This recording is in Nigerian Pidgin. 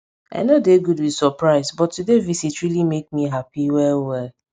i nor dey good with surprise but today visit really make me happy well well